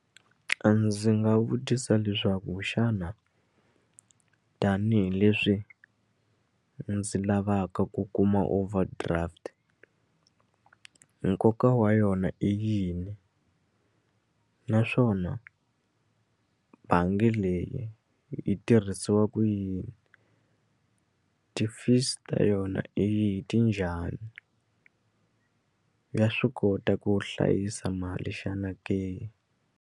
A ndzi nga vutisa leswaku xana tanihileswi ndzi lavaka ku kuma overdraft nkoka wa yona i yini naswona bangi leyi yi tirhisiwa ku yini ti-fees ta yona i ti njhani ya swi kota ku hlayisa mali xana ke.